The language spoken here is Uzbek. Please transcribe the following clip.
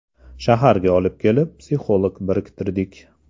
Shaharga olib kelib, psixolog biriktirdik.